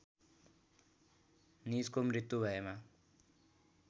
निजको मृत्यु भएमा